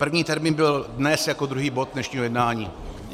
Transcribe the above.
První termín byl dnes jako druhý bod dnešního jednání.